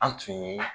An tun ye